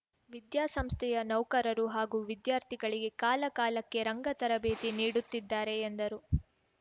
ವಿದ್ಯಾಸಂಸ್ಥೆಯ ನೌಕರರು ಹಾಗೂ ವಿದ್ಯಾರ್ಥಿಗಳಿಗೆ ಕಾಲಕಾಲಕ್ಕೆ ರಂಗ ತರಬೇತಿ ನೀಡುತ್ತಿದ್ದಾರೆ ಎಂದರು